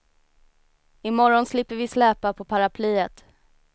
I morgon slipper vi släpa på paraplyet.